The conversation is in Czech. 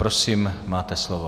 Prosím, máte slovo.